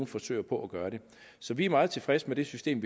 forsøger på at gøre det så vi er meget tilfredse med det system